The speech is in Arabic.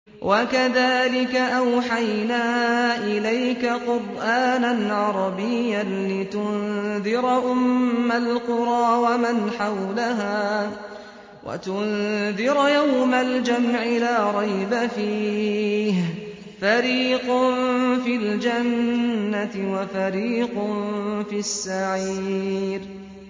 وَكَذَٰلِكَ أَوْحَيْنَا إِلَيْكَ قُرْآنًا عَرَبِيًّا لِّتُنذِرَ أُمَّ الْقُرَىٰ وَمَنْ حَوْلَهَا وَتُنذِرَ يَوْمَ الْجَمْعِ لَا رَيْبَ فِيهِ ۚ فَرِيقٌ فِي الْجَنَّةِ وَفَرِيقٌ فِي السَّعِيرِ